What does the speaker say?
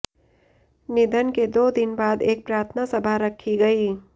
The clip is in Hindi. निधन के दो दिन बाद एक प्रार्थना सभा रखी गई